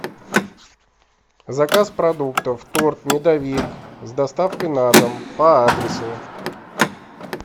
заказ продуктов торт медовик с доставкой на дом по адресу